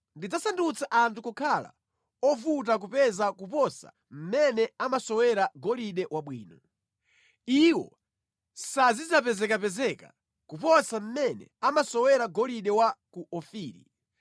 Ndidzasandutsa anthu kukhala ovuta kupeza kuposa mmene amasowera golide wabwino. Iwo sazidzapezekapezeka kuposa mmene amasowera golide wa ku Ofiri.